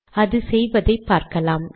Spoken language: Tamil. அது செய்வதை பார்க்கலாம்